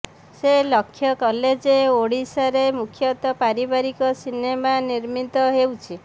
ସେ ଲକ୍ଷ୍ୟ କଲେ ଯେ ଓଡ଼ିଆରେ ମୁଖ୍ୟତଃ ପାରିବାରିକ ସିନେମା ନିର୍ମିତ ହେଉଛି